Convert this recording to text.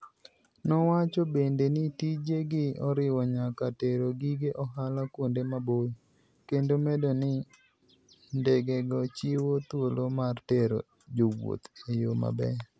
Nowacho bende ni tijegi oriwo nyaka tero gige ohala kuonde maboyo, kendo medo ni, ndegego chiwo thuolo mar tero jowuoth e yo maber.